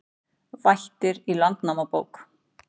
Vættir í Landnámabók